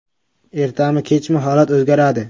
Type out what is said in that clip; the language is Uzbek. Ertami, kechmi, holat o‘zgaradi.